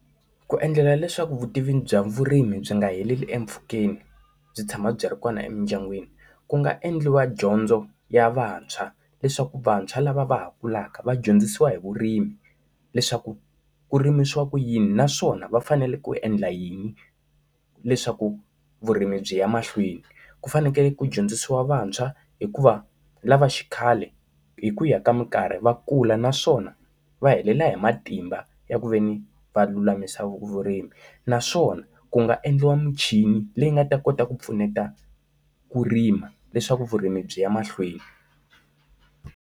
Ku endlela leswaku vutivi bya vurimi byi nga heleli empfhukeni byi tshama byi ri kona emindyangwini, ku nga endliwa dyondzo ya vantshwa leswaku vantshwa lava va ha kulaka va dyondzisiwa hi vurimi leswaku ku rimiwa ku yini naswona va fanele ku endla yini leswaku vurimi byi ya mahlweni. Ku fanekele ku dyondzisiwa vantshwa hikuva lava xikhale hi ku ya ka mikarhi va kula naswona va helela hi matimba ya ku ve ni va lulamisa vu vurimi. Naswona ku nga endliwa muchini leyi nga ta kota ku pfuneta ku rima, leswaku vurimi byi ya mahlweni.